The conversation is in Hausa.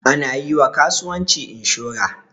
Ana yiwa kasuwanci inshura